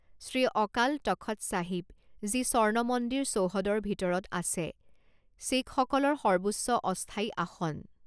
শ্ৰী অকাল তখত চাহিব, যি স্বৰ্ণ মন্দিৰ চৌহদৰ ভিতৰত আছে, শিখসকলৰ সৰ্বোচ্চ অস্থায়ী আসন।